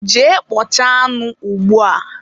jee kpọchaa anụ ugbua!